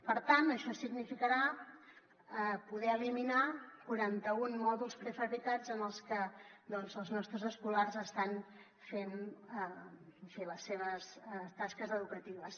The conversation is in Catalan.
per tant això significarà poder eliminar quaranta un mòduls prefabricats en els que els nostres escolars estan fent en fi les seves tasques educatives